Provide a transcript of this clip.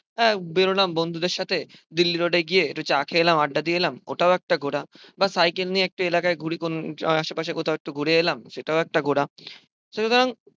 হ্যাঁ বেরোলাম বন্ধুদের সাথে দিল্লি রোডে গিয়ে একটু চা খেয়ে এলাম আড্ডা দিয়ে এলাম ওটাও একটা ঘোরা। বা সাইকেল নিয়ে একটু এলাকায় ঘুড়ি কোন আহ আশেপাশে কোথাও একটু ঘুরে এলাম, সেটাও একটা ঘোরা। সুতরাং